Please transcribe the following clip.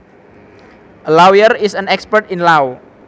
A lawyer is an expert in law